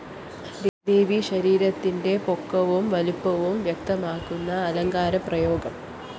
ദേവീശരീരത്തിന്റെ പൊക്കവും വലുപ്പവും വ്യക്തമാക്കുന്ന അലങ്കാരപ്രയോഗം